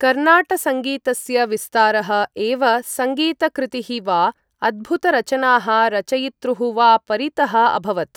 कर्णाटसङ्गीतस्य विस्तारः एव सङ्गीतकृतीः वा अद्भुतरचनाः रचयितॄः वा परितः अभवत्।